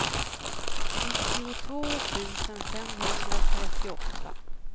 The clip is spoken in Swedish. nittiotvå tusen femhundratrettioåtta